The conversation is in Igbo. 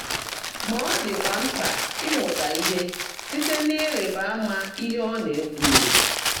Mà ọ́ ḍị́kwá mkpã ị́mụ́tá íhe síte n’ị́rị́bá áma íhe ọ́ ná-èkwúghị́.